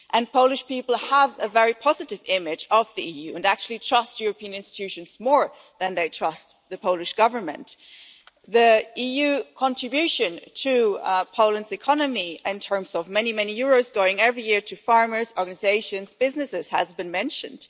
Polish people have a very positive image of the EU and actually trust European institutions more than they trust the Polish Government. The EU contribution to Poland's economy, in terms of many euros going every year to farmers, organisations and businesses, has been mentioned.